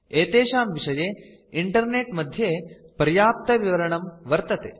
एतेषां विषये इन्टरनेट् मध्ये पर्याप्तविवरणं वर्तते